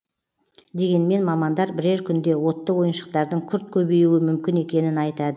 дегенмен мамандар бірер күнде отты ойыншықтардың күрт көбеюі мүмкін екенін айтады